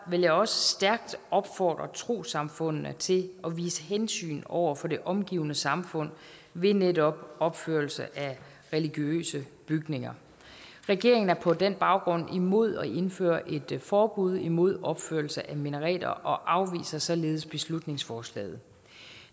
vil jeg også stærkt opfordre trossamfundene til at vise hensyn over for det omgivende samfund ved netop opførelse af religiøse bygninger regeringen er på den baggrund imod at indføre et forbud imod opførelse af minareter og afviser således beslutningsforslaget